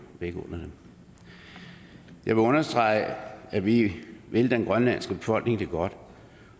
dem jeg vil understrege at vi vil den grønlandske befolkning det godt